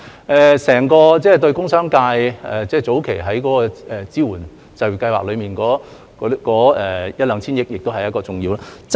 對於整個工商界，早期在支援就業計劃中的一兩千億元亦是重要的。